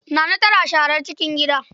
Naana tana sharar cikin gida.